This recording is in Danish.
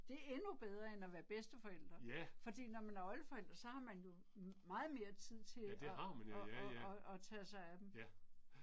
Ja! Ja det har man ja, ja ja. Ja, ja